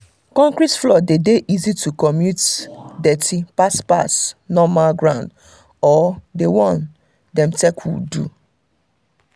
concrete floor dey easy to commute dirty pass pass normal ground or d one wey dem take wood do